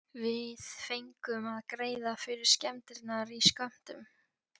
Við fengum að greiða fyrir skemmdirnar í skömmtum.